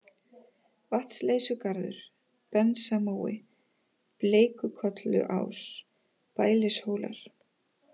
Vatnsleysugarður, Bensamói, Bleikkolluás, Bælishólar